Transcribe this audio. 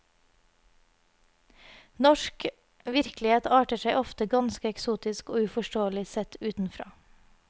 Norsk virkelighet arter seg ofte ganske eksotisk og uforståelig sett utenfra.